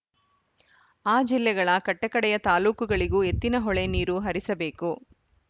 ಆ ಜಿಲ್ಲೆಗಳ ಕಟ್ಟಕಡೆಯ ತಾಲ್ಲೂಕುಗಳಿಗೂ ಎತ್ತಿನಹೊಳೆ ನೀರು ಹರಿಸಬೇಕು